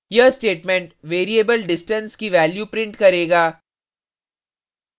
यह statement variable distance की value prints करेगा